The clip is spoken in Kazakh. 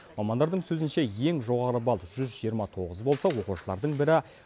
мамандардың сөзінше ең жоғары балл жүз жиырма тоғыз болса оқушылардың бірі